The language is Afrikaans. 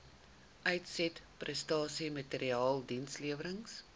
uitsetprestasie maatreëls dienslewerings